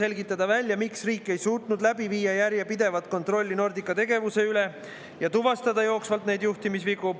Selgitada välja, miks riik ei suutnud läbi viia järjepidevat kontrolli Nordica tegevuse üle ja tuvastada jooksvalt juhtimisvigu.